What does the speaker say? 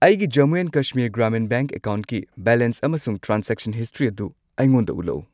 ꯑꯩꯒꯤ Jammu and Kashmir Grameen bank ꯑꯦꯀꯥꯎꯟꯠꯀꯤ balance ꯑꯃꯁꯨꯡ ꯇ꯭ꯔꯥꯟꯖꯦꯛꯁꯟ ꯍꯤꯁꯇ꯭ꯔꯤ ꯑꯗꯨ ꯑꯩꯉꯣꯟꯗ ꯎꯠꯂꯛꯎ꯫